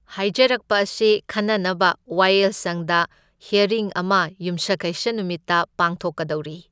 ꯍꯥꯢꯖꯔꯛꯄ ꯑꯁꯤ ꯈꯟꯅꯅꯕ ꯋꯥꯌꯦꯜꯁꯪꯗ ꯍꯤꯢꯌꯔꯤꯡ ꯑꯃ ꯌꯨꯝꯖꯀꯩꯁ ꯅꯨꯃꯤꯠꯇ ꯄꯥꯡꯊꯣꯛꯀꯗꯧꯔꯤ꯫